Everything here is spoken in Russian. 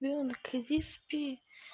ребёнок иди спи